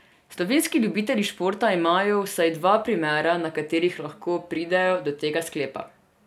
Slovenski ljubitelji športa imajo vsaj dva primera, na katerih lahko pridejo do tega sklepa.